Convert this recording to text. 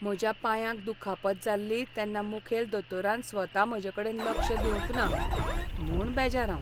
म्हज्या पांयाक दुखापत जाल्ली तेन्ना मुखेल दोतोरान स्वता म्हजेकडेन लक्ष दिवंक ना म्हूण बेजार हांव.